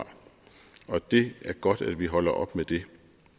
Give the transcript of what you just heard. det er godt at vi holder op med det